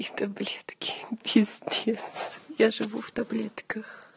и таблетки пиздец я живу в таблетках